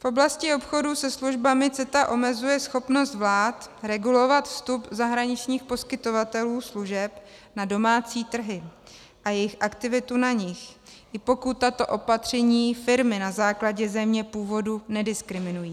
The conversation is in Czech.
V oblasti obchodu se službami CETA omezuje schopnost vlád regulovat vstup zahraničních poskytovatelů služeb na domácí trhy a jejich aktivitu na nich, i pokud tato opatření firmy na základě země původu nediskriminují.